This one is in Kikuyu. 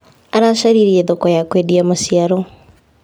Aracaririe thoko ya kwendia maciaro.